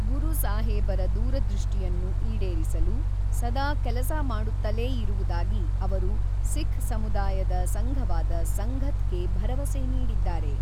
ಗುರು ಸಾಹೇಬರ ದೂರದೃಷ್ಟಿಯನ್ನು ಈಡೇರಿಸಲು ಸದಾ ಕೆಲಸ ಮಾಡುತ್ತಲೇ ಇರುವುದಾಗಿ ಅವರು ಸಿಖ್ ಸಮುದಾಯದ ಸಂಘವಾದ ಸಂಘತ್ ಗೆ ಭರವಸೆ ನೀಡಿದ್ದಾರೆ.